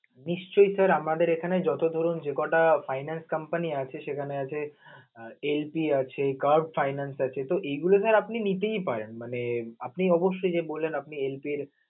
নিশ্চয়ই sir আমাদের এখানে যত ধরুন যে ক'টা finance company আছে সেখানে আছে LP আছে cap finance আছে তো এইগুলো sir আপনে নিতেই পারেন. মানে আপনি অবশ্যই যে বললেন আপনি LP এর